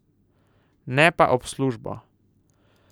Ne pa ob službo.